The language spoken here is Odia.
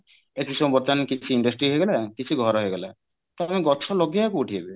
ବାର୍ତ୍ତମାନେ କିଛି industry ହେଇଗଲା କିଛି ଘର ହେଇଗଲା ତ ଆମେ ଗଛ ଲଗେଇବା କୋଉଠି ଏବେ